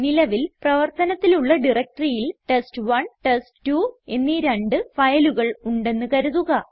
നിലവിൽ പ്രവർത്തനത്തിലുള്ള directoryയിൽ ടെസ്റ്റ്1 ടെസ്റ്റ്2 എന്നീ രണ്ട് ഫയലുകൾ ഉണ്ടെന്ന് കരുതുക